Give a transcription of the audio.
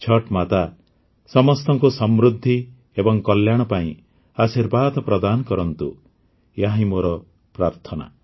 ଛଠ୍ ମାତା ସମସ୍ତଙ୍କୁ ସମୃଦ୍ଧି ଏବଂ କଲ୍ୟାଣ ପାଇଁ ଆଶୀର୍ବାଦ ପ୍ରଦାନ କରନ୍ତୁ ଏହା ହିଁ ମୋର ପ୍ରାର୍ଥନା